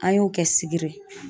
An y'o kɛ sibiri ye